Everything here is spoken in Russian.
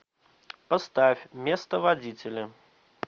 поставь место водителя